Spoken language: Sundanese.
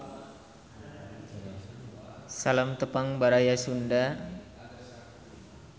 Salam Tepang Baraya Sunda.